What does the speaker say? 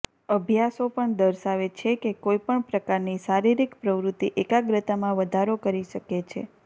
અભ્યાસો પણ દર્શાવે છે કે કોઈ પણ પ્રકારની શારીરિક પ્રવૃત્તિ એકાગ્રતામાં વધારો કરી શકે છે